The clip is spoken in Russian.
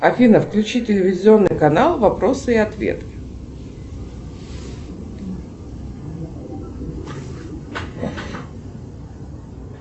афина включи телевизионный канал вопросы и ответы